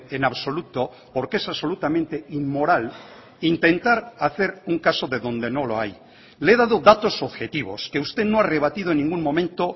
en absoluto porque es absolutamente inmoral intentar hacer un caso de donde no lo hay le he dado datos objetivos que usted no ha rebatido en ningún momento